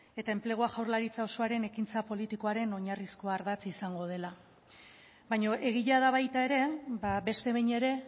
eta enplegua jaurlaritza osoaren ekintza politikoaren oinarrizko ardatz izango dela baina egia da baita ere beste behin ere